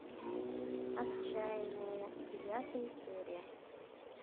отчаянные девятая серия